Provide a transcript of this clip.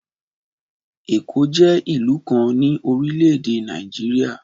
Ẹ̀kọ́ jẹ́ ìlú kan ni orílẹ̀-èdè Nàìjíríà